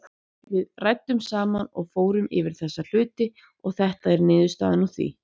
Við ræddum saman og fórum yfir þessa hluti og þetta er niðurstaðan úr því.